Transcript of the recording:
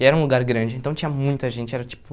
E era um lugar grande, então tinha muita gente, era tipo...